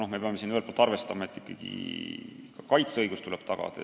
Aga me peame teiselt poolt arvestama sedagi, et ikkagi ka kaitseõigus tuleb tagada.